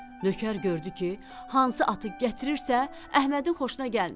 Nökər gördü ki, hansı atı gətirirsə, Əhmədin xoşuna gəlmir.